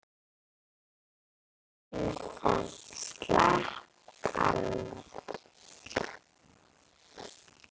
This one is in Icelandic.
En það slapp alveg.